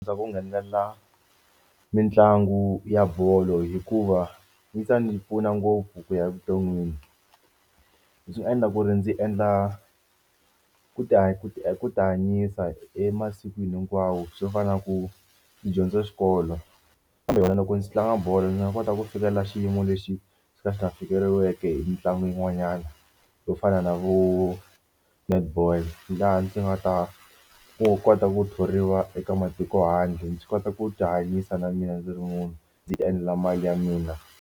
Ndza ku nghenela mitlangu ya bolo hikuva yi ta ndzi pfuna ngopfu ku ya evuton'wini. Leswi nga endla ku ri ndzi endla ku ku ti ku tihanyisa emasikwini hinkwawo swo fana na ku dyondza xikolo loko ndzi tlanga bolo ndzi nga kota ku fikelela xiyimo lexi xi ka xi nga xi nga fikeleriweke hi mitlangu yin'wanyana yo fana na vo netball laha ndzi nga ta kota ku thoriwa eka matiko handle. Ndzi kota ku tihanyisa na mina ndzi ri munhu ndzi endla mali ya mina.